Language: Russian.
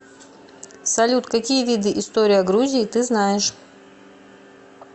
салют какие виды история грузии ты знаешь